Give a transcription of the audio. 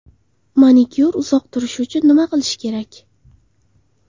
Manikyur uzoq turishi uchun nima qilish kerak?.